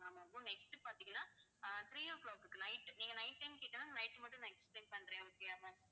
next பாத்தீங்கன்னா uh three o'clock க்கு night நீங்க night time கேட்டதனால night மட்டும் நான் explain பண்றேன் okay யா ma'am